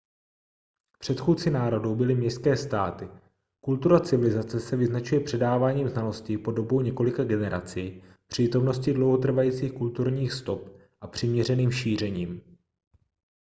předchůdci národů byly městské státy kultura civilizace se vyznačuje předáváním znalostí po dobu několika generací přítomností dlouhotrvajících kulturních stop a přiměřeným šířením